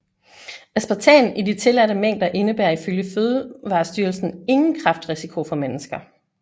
Aspartam i de tilladte mængder indebærer ifølge Fødevarestyrelsen ingen kræftrisiko for mennesker